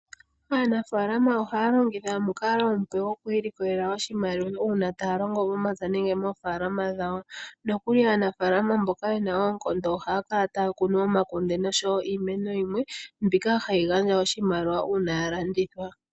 Aanafaalama ohaya longitha omukalo omupe goku ilikolela oshimaliwa, uuna taya longo momapya nenge moofaalama dhawo, nokuli aanafaalama mboka ye na oonkondo ohaya kala taya kunu omakunde noshowo iimeno yimwe, mbika hayi gandja oshimaliwa uuna ya landithwa.